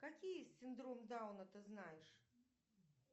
какие синдром дауна ты знаешь